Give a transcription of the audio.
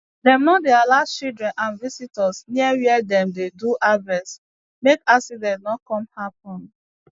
dem no dey allow children and visitors near wia dem dey do harvest make accident no come happen